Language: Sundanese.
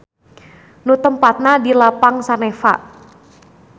Nu tempatna di Lapang Saneva.